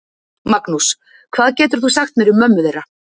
Magnús: Hvað getur þú sagt mér um mömmu þeirra?